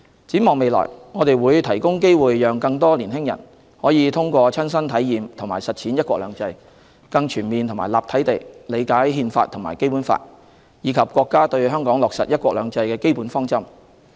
展望未來，我們會提供機會讓更多年輕人可以通過親身體驗和實踐"一國兩制"，更全面和立體地理解《憲法》和《基本法》，以及國家對香港落實"一國兩制"的基本方針。